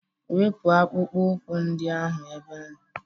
Wepu akpụkpọ ụkwụ ndị ahụ ebe.!